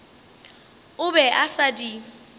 o be a sa di